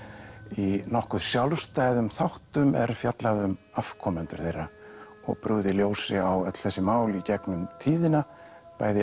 í nokkuð sjálfstæðum þáttum er fjallað um afkomendur þeirra og brugðið ljósi á öll þessi mál í gegnum tíðina bæði